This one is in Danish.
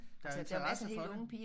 Der er interesse for det